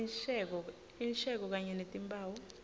insheko kanye netimphawu